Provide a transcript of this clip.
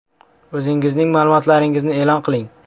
O‘zingizning ma’lumotlaringizni e’lon qiling!